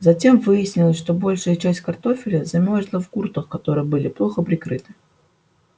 затем выяснилось что большая часть картофеля замёрзла в гуртах которые были плохо прикрыты